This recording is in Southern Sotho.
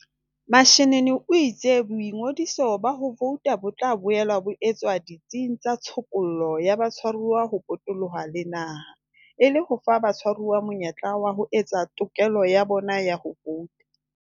Mashinini o itse boingodiso ba ho vouta bo tla boela bo etswa ditsing tsa tshokollo ya batshwaruwa ho potoloha le naha, e le ho fa batshwaruwa monyetla wa ho etsa tokelo ya bona ya ho vouta.